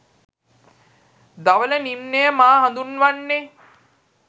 ධවල නිම්නය මා හඳුන්වන්නේ